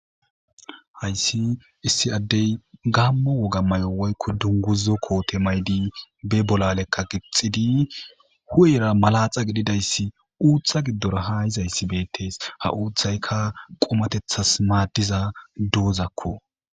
hayssi issi addey gammo wogamay7o woykko dunguzo koote maydi be bolalekka gixxidi hu7era malaxa gididayssi uuththa giddora ha hizayssi beettees ha uuththayka qomatethas maaddiza duuzakko